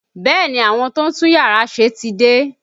Bẹẹ ni, àwọn tó ń tún yàrá ṣe ti dé